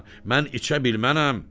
Mən içə bilmənəm.”